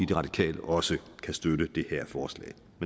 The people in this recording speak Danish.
de radikale også kan støtte det her forslag